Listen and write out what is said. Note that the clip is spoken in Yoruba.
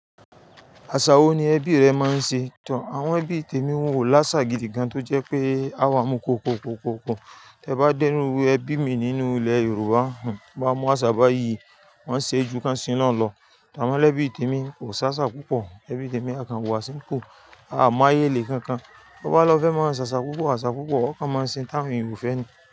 Àṣà wo ni ẹbí rẹ máa ń ṣe tó? Àwọn ẹbí tèmi wọn ó láṣà gidi kan tó jẹ́ pé a wá mú kókó kókó kó. Tẹ bá dẹ́nu ẹbí mi nínú ilẹ̀ Yorùbá, máa mọ̀ àsá bá yìí, wọ́n ṣe é ju káń sí loun lọ. Amo lẹ́bí tèmi kò ṣàṣà púpọ̀. Ẹbí tèmi a kan wọ aṣọ nípò, a máa yélè kankan. Ó bá lọ fẹ́ máa ń ṣàṣà púpọ̀, àṣà púpọ̀, ọ́kan máa ń sin táwọn Yorùbá fẹ́ ni.